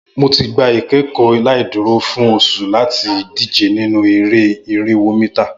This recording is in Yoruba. Mo ti gba ikẹkọ laiduro fun awọn oṣu lati dije ninu ere-ije irinwo mita